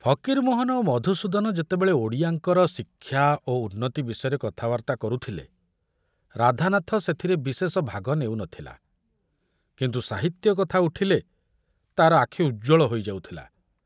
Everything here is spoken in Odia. ଫକୀରମୋହନ ଓ ମଧୁସୂଦନ ଯେତେବେଳେ ଓଡ଼ିଆଙ୍କର ଶିକ୍ଷା ଓ ଉନ୍ନତି ବିଷୟରେ କଥାବାର୍ତ୍ତା କରୁଥିଲେ ରାଧାନାଥ ସେଥିରେ ବିଶେଷ ଭାଗ ନେଉ ନ ଥିଲା, କିନ୍ତୁ ସାହିତ୍ୟ କଥା ଉଠିଲେ ତାର ଆଖ୍ ଉଜ୍ଜ୍ୱଳ ହୋଇ ଯାଉଥିଲା।